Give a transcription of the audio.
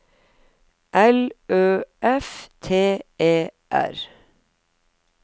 L Ø F T E R